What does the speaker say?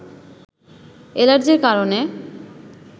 এলার্জির কারণে